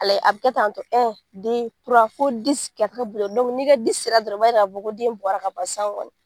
A lajɛ a bɛ kɛ tan tɔ fo ka ni ka sera dɔrɔn a b'a yira k'a fɔ ko den bɔra ka ban sisan kɔni